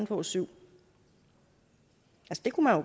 få syv uger